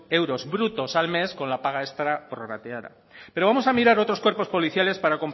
euros brutos al mes con la paga extra prorrateada pero vamos a mirar otros cuerpos policiales